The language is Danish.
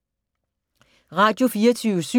Radio24syv